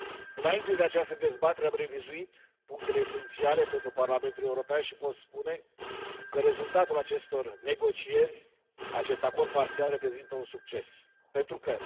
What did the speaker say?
Înainte de această dezbatere am revizuit punctele esențiale pentru Parlamentul European și pot spune că rezultatul acestor negocieri acest acord parțial reprezintă un succes pentru că